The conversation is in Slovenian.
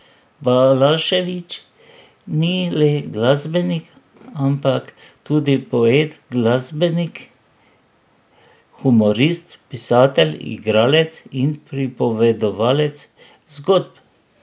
Balašević ni le glasbenik, ampak tudi poet, glasbenik, humorist, pisatelj, igralec in pripovedovalec zgodb.